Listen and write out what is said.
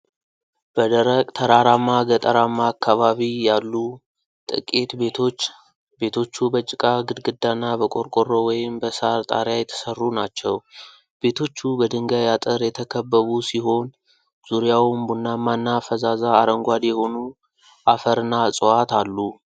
በደረቅ ተራራማ ገጠራማ አካባቢ ያሉ ጥቂት ቤቶች። ቤቶቹ በጭቃ ግድግዳና በቆርቆሮ ወይም በሳር ጣሪያ የተሠሩ ናቸው። ቤቶቹ በድንጋይ አጥር የተከበቡ ሲሆን ዙሪያውም ቡናማና ፈዛዛ አረንጓዴ የሆኑ አፈርና ዕፅዋት አሉ።